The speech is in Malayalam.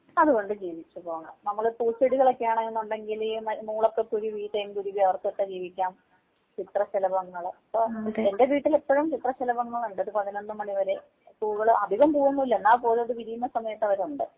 അതുകൊണ്ട് ജീവിച്ച് പോകാം. നമ്മള് പൂച്ചെടികളൊക്കെ ആണെന്നുണ്ടെങ്കില് മൂളക്ക കുരുവി തേന്‍ കുരുവി അവര്‍ക്കൊക്കെ ജീവിക്കാം ചിത്രശലഭങ്ങള് എന്റെ വീട്ടില് ഇപ്പഴും ചിത്രശലഭങ്ങളുണ്ട് ഒരു പതിനൊന്ന് മണിവരെ. പൂക്കള് അധികം പൂവൊന്നും ഇല്ല എന്നാൽ പോലും അത് വിരിയുന്ന സമയത്ത് അവരുണ്ട്.